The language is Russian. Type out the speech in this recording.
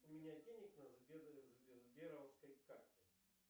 у меня денег на сберовской карте